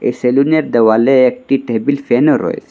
এই সেলুনের দেওয়ালে একটি টেবিল ফ্যানও রয়েছে।